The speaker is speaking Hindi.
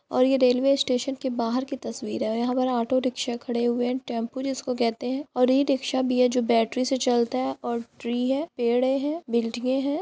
और यह रेलवे स्टेशन के बाहर की तस्वीर है और यहाॅं पे ऑटो रिक्शा खड़े हुए हैं टेंपू जिसको कहते हैं और इ रिक्शा भी है जो बैटरी से चलता है और ट्री है पेड़े हैं बिल्डिंगे हैं।